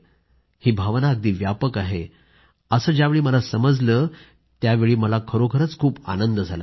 ही भावना अगदी व्यापक आहे असं ज्यावेळी मला समजलं त्यावेळी मला खरोखरीच खूप आनंद झाला